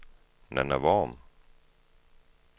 Nanna Worm